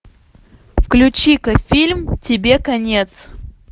включи ка фильм тебе конец